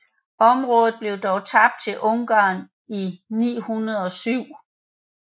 Området blev dog tabt til Ungarn i 907